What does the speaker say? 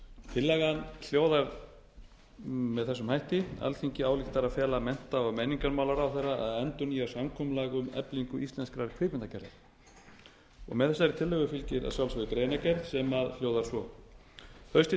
tillagan hljóðar með þessum hætti alþingi ályktar að fela mennta og menningarmálaráðherra að endurnýja samkomulag um eflingu íslenskrar kvikmyndagerðar með þessari tillögu fylgir að sjálfsögðu greinargerð sem hljóðar svo haustið tvö